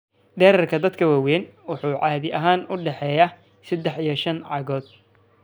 Dhererka dadka waaweyn wuxuu caadi ahaan u dhexeeyaa sedax iyo shaan cagood.